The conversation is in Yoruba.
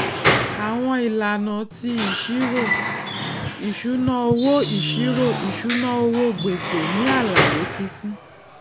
àwọn ìlànà ti ìṣírò ìṣúnáowó ìṣírò ìṣúnáowó gbèsè nì àlàyé kíkún